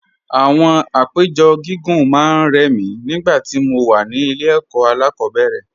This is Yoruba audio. Àwọn àpéjọ gígùn máa ń rẹ̀ mí nígbà tí mo wà ní ilé ẹ̀kọ́ alákọ̀ọ́bẹ̀rẹ̀